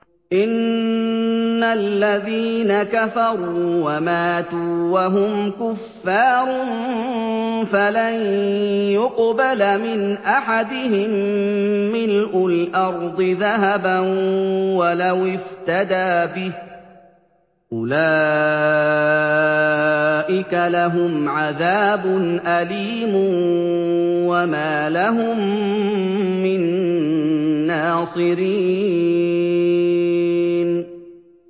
إِنَّ الَّذِينَ كَفَرُوا وَمَاتُوا وَهُمْ كُفَّارٌ فَلَن يُقْبَلَ مِنْ أَحَدِهِم مِّلْءُ الْأَرْضِ ذَهَبًا وَلَوِ افْتَدَىٰ بِهِ ۗ أُولَٰئِكَ لَهُمْ عَذَابٌ أَلِيمٌ وَمَا لَهُم مِّن نَّاصِرِينَ